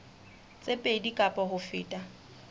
tse pedi kapa ho feta